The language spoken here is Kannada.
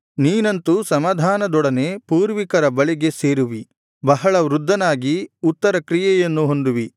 ನೀನಂತೂ ಸಮಾಧಾನದೊಡನೆ ಪೂರ್ವಿಕರ ಬಳಿಗೆ ಸೇರುವಿ ಬಹಳ ವೃದ್ಧನಾಗಿ ಉತ್ತರಕ್ರಿಯೆಯನ್ನು ಹೊಂದುವಿ